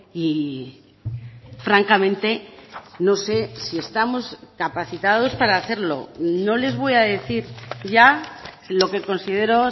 y francamente no sé si estamos capacitados para hacerlo no les voy a decir ya lo que considero